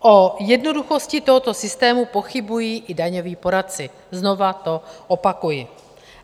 O jednoduchosti tohoto systému pochybují i daňoví poradci, znova to opakuji.